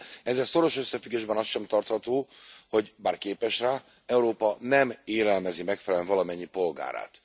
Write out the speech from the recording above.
Ezzel szoros összefüggésben az sem tartható, hogy bár képes rá Európa nem élelmezi megfelelően valamennyi polgárát.